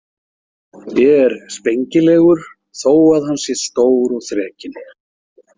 Er spengilegur þó að hann sé stór og þrekinn.